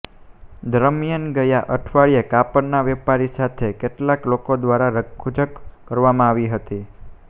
દરમિયાન ગયા અઠવાડિયે કાપડના વેપારી સાથે કેટલાંક લોકો દ્વારા રકઝક કરવામાં આવી હતી